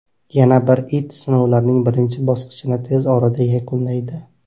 Yana bir it sinovlarning birinchi bosqichini tez orada yakunlaydi.